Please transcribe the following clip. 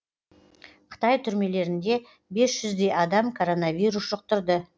қытай түрмелерінде бес жүздей адам коронавирус жұқтырды